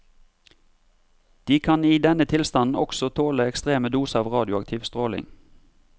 De kan i denne tilstanden også tåle ekstreme doser av radioaktiv stråling.